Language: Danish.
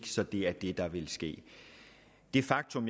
så det er det der vil ske det faktum